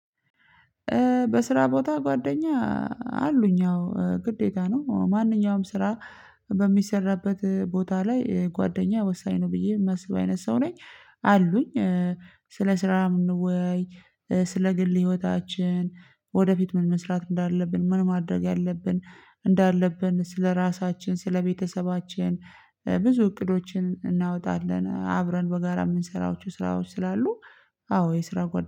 በስራ ቦታ ጓደኛ አሉኝ። አዎ ግዴታ ነው። ማንኛውም ስራ በሚሰራበት ቦታ ላይ ጓደኛ ወሳኝ ነው። ብዬ የማስብ አይነት ሰው ነኝ። አሉኝ። ስለ ስራ ምንወያይ፣ ስለ ግል ህይወታችን፣ ወደፊት ምን መስራት እንዳለብን፣ ምን ማድረግ ያለብን እንዳለብን፣ ስለራሳችን፣ ስለቤተሰባችን፣ ብዙ እቅዶችን እናወጣለን። አብረን በጋራ የምንሰራቸው ስራዎች ስላሉ አዎ የስራ ጓደኞቼ